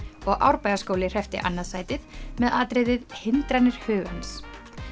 og Árbæjarskóli hreppti annað sætið með atriðið hindranir hugans